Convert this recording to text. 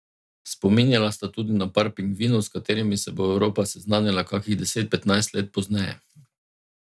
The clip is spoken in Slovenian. Spominjala sta tudi na par pingvinov, s katerimi se bo Evropa seznanila kakih deset, petnajst let pozneje.